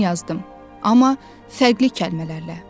Eynisini yazdım, amma fərqli kəlmələrlə.